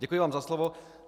Děkuji vám za slovo.